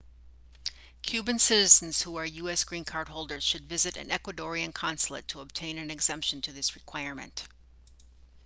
cuban citizens who are us green card holders should visit an ecuadorian consulate to obtain an exemption to this requirement